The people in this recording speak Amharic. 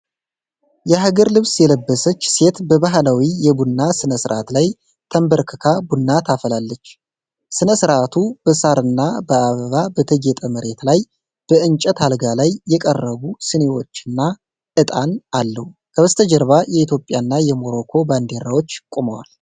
የሀገር ልብስ የለበሰች ሴት በባህላዊ የቡና ሥነ ሥርዓት ላይ ተንበርክካ ቡና ታፈላለች። ሥነ ሥርዓቱ በሳርና በአበባ በተጌጠ መሬት ላይ በእንጨት አልጋ ላይ የቀረቡ ሲኒዎችና ዕጣን አለው። ከበስተጀርባ የኢትዮጵያና የሞሮኮ ባንዲራዎች ቆመዋል።